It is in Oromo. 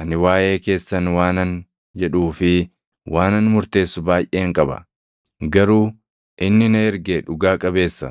Ani waaʼee keessan waanan jedhuu fi waanan murteessu baayʼeen qaba. Garuu inni na erge dhugaa qabeessa;